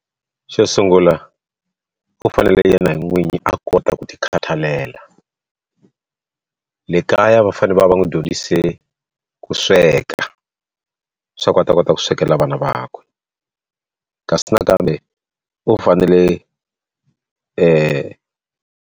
Xo sungula u fanele yena n'wini a kota ku tikhathalela le kaya va fane va va n'wi dyondzise ku sweka swa ku u ta kota ku swekela vana vakwe kasi nakambe u fanele .